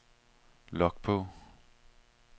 log på